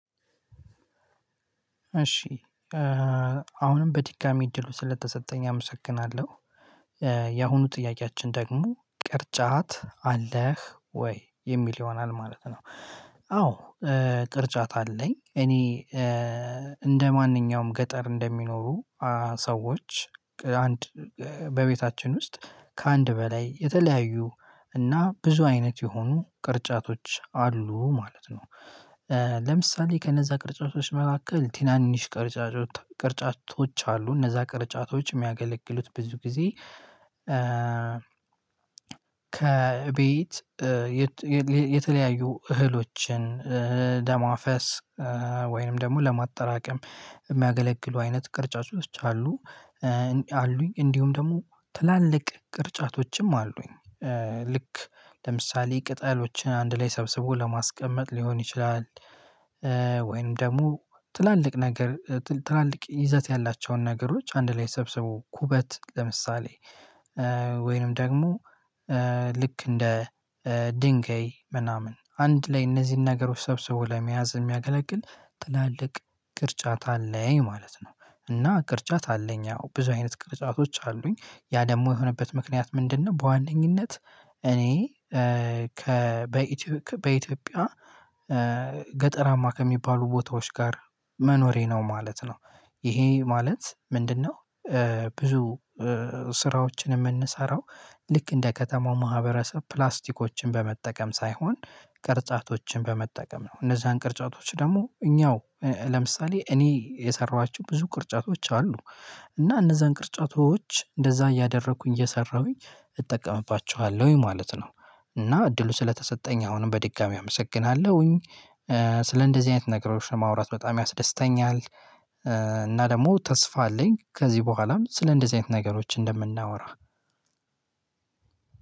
እሺ አሁንም በድጋሜ እድሉ ስለተሰጠኝ አመሰግናለሁ። የአሁኑ ጥያቄያችን ደግሞ ቅርጫት አለህ ወይ የሚል ይሆናል ማለት ነው። አዎ፣ ቅርጫት አለኝ። እኔ እንደማንኛውም ገጠር እንደሚኖሩ ሰዎች አንድ በቤታችን ውስጥ ከአንድ በላይ የተለያዩ እና ብዙ አይነት የሆኑ ቅርጫቶች አሉ ማለት ነው ለምሳሌ ከነዛ ቅርጫቶች መካከል ትናንሽ ቅርጫጮት ቅርጫቶች አሉ። እነዛ ቅርጫቶች የሚያገለግሉት ብዙ ጊዜ ከቤት የተለያዩ እህሎችን ለማፈስ ወይንም ደግሞ ለማጠራቀም የሚያገለግሉ አይነት ቅርጫጮች አሉ። አሉኝ እንዲሁም ደግሞ ትላልቅ ቅርጫቶችም አሉኝ። ልክ ለምሳሌ ቅጠሎችን አንድ ላይ ሰብስቦ ለማስቀመጥ ሊሆን ይችላል ወይም ደግሞ ትላልቅ ነገር ትላልቅ ይዘት ያላቸውን ነገሮች አንድ ላይ ሰብስቦ፣ ኩበት ለምሳሌ ወይንም ደግሞ ልክ እንደ ድንጋይ ምናምን አንድ ላይ እነዚህን ነገሮች ሰብስቦ ለመያዝ የሚያገለግል ትላልቅ ቅርጫት አለኝ ማለት ነው። እና ቅርጫት አለኝ ያው ብዙ አይነት ቅርጫቶች አሉኝ። ያ ደግሞ የሆነበት ምክንያት ምንድነው በዋነኝነት እኔ ከ በኢትዮጵያ ገጠራማ ከሚባሉ ቦታዎች ጋር መኖሬ ነው ማለት ነው። ይሄ ማለት ምንድነው ብዙ ስራዎችን የምንሰራው ልክ እንደ ከተማው ማህበረሰብ ፕላስቲኮችን በመጠቀም ሳይሆን ቅርጫቶችን በመጠቀም ነው። እነዛን ቅርጫቶች ደግሞ እኛው ለምሳሌ እኔ የሰራኋቸው ብዙ ቅርጫቶች አሉ። እና እነዛን ቅርጫቶች እንደዛ እያደረኩኝ እየሰራሁኝ እጠቀምባቸዋለሁኝ ማለት ነው። እና እድሉ ስለተሰጠኝ አሁንም በድጋሚ አመሰግናለሁኝ። ስለ እንደዚህ አይነት ነገሮች ለማውራት በጣም ያስደስተኛል እና ደግሞ ተስፋ አለኝ ከዚህ በኋላም ስለ እንደዚህ አይነት ነገሮች እንደምናወራ።